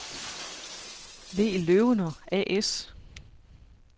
V. Løwener A/S